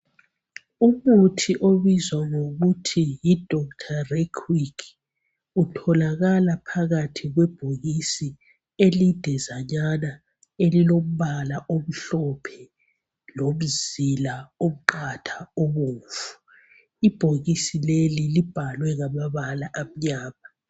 umuthi obizwa kuthiwa yi dr requick utholakala phakathi kwebhokisi elidizanana elilompala omhlophe lemizila emiqhatha ebomvu ibhokisi leli libhalwe ngamabala amnyama